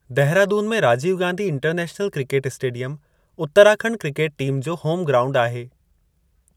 दहिरादून में Rajiv Gandhi international cricket stadium, Uttarakhand cricket team जो home ground आहे।